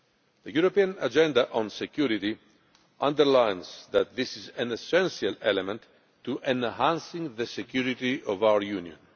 The European Agenda on Security underlines that this is an essential element to enhancing the security of our Union.